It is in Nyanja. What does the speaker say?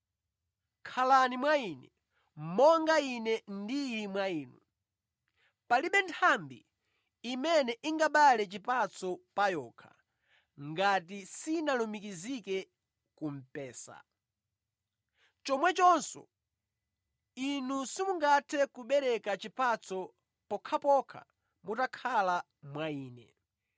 Khalani mwa Ine, monga Ine ndili mwa inu. Palibe nthambi imene ingabereke chipatso pa yokha ngati sinalumikizike ku mpesa. Chomwechonso inu simungathe kubereka chipatso pokhapokha mutakhala mwa Ine.